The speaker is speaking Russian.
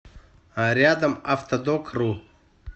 рядом автодокру